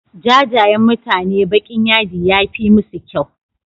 Jajayen mutane baƙin yadi yafi musu kyau.